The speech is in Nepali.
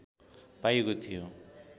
पाइएको थियो